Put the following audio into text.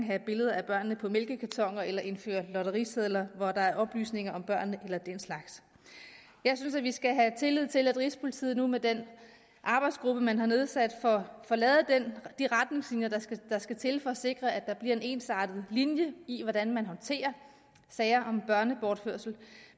have billeder af børnene på mælkekartoner eller indføre lotterisedler hvor der er oplysninger om børnene eller den slags jeg synes at vi skal have tillid til at rigspolitiet nu med den arbejdsgruppe man har nedsat får lavet de retningslinjer der skal til for at sikre at der bliver en ensartet linje i hvordan man håndterer sager om børnebortførelse